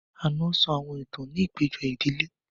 Ànọ́ sọ àwọn ìtàn ní àpéjọ ìdílé